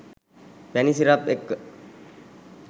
පැණි සිරප් එක්ක